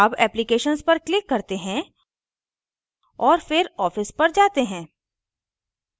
अब applications पर click करते हैं और फिर office पर जाते हैं